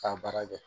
K'a baara kɛ